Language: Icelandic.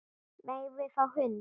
Megum við fá hund?